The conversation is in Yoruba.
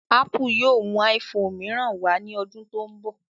Ápù yóò mú iphone mìíràn wá ní ọdún tó ń bọ̀